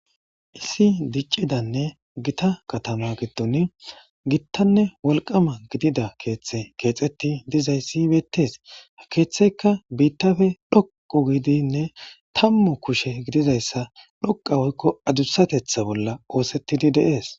Issi diccidanne gita katama giddon gittanne wolqama gidida keeththe keexetti dizayssibeettes ha keeththeykka biittafe dhoqu gidinne tammu kushe gidizayssa dhoqa woykko adussatetha bolla oosettidi deees.